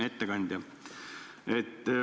Hea ettekandja!